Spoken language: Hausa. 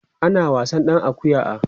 ana wasan ɗan akuƴan a